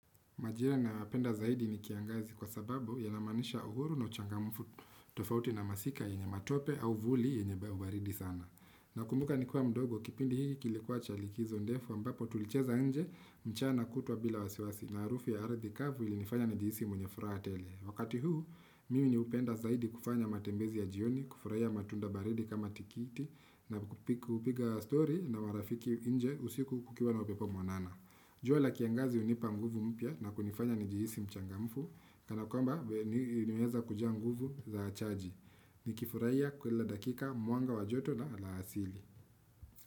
Majira ninayopenda zaidi ni kiangazi kwa sababu yanamaanisha uhuru na uchangamfu tofauti na masika yenye matope au vuli yenye baridi sana. Ninakumbuka nikiwa mdogo kipindi hiki kilikuwa cha likizo ndefu ambapo tulicheza nje mchana kutwa bila wasiwasi na harufu ya ardhi kavu ilinifanya nijihisi mwenye furaha tele. Wakati huu, mimi hupenda zaidi kufanya matembezi ya jioni, kufurahia matunda baridi kama tikiti na kupiga story na marafiki nje usiku kukiwa na upepo mwanana. Jua la kiangazi hunipa nguvu mpya na kunifanya nijihisi mchangamfu, kana kwamba nimeweza kujaa nguvu za chaji. Nikifurahia kila dakika mwanga wa joto na la asili.